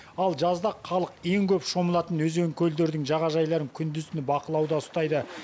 ал жазда халық ең көп шомылатын өзен көлдердің жағажайларын күндіз түні бақылауда ұстайды